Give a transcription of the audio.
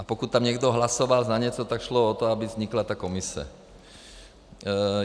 A pokud tam někdo hlasoval na něco, tak šlo o to, aby vznikla ta Komise.